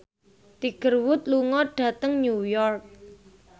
Tiger Wood lunga dhateng New York